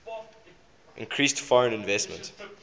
increased foreign investment